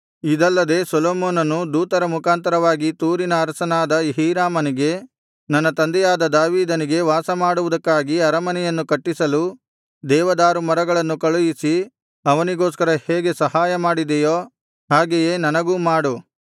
ಇದಲ್ಲದೆ ಸೊಲೊಮೋನನು ದೂತರ ಮುಖಾಂತರವಾಗಿ ತೂರಿನ ಅರಸನಾದ ಹೀರಾಮನಿಗೆ ನನ್ನ ತಂದೆಯಾದ ದಾವೀದನಿಗೆ ವಾಸಮಾಡುವುದಕ್ಕಾಗಿ ಅರಮನೆಯನ್ನು ಕಟ್ಟಿಸಲು ದೇವದಾರು ಮರಗಳನ್ನು ಕಳುಹಿಸಿ ಅವನಿಗೋಸ್ಕರ ಹೇಗೆ ಸಹಾಯ ಮಾಡಿದೆಯೋ ಹಾಗೆಯೇ ನನಗೂ ಮಾಡು